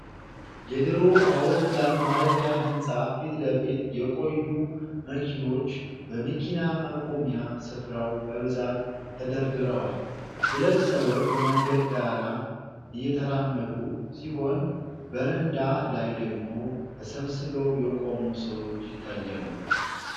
የድሮ አውሮፕላን ማረፊያ ህንጻ ፊት ለፊት የቆዩ መኪኖች በመኪና ማቆሚያ ስፍራው በብዛት ተደርድረዋል። ሁለት ሰዎች በመንገድ ዳር እየተራመዱ ሲሆን፤ በረንዳ ላይ ደግሞ ተሰባስበው የቆሙ ሰዎች ይታያሉ።